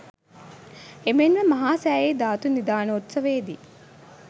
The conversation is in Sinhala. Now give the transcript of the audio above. එමෙන්ම මහා සෑයෙහි ධාතු නිධානෝත්සවයේදී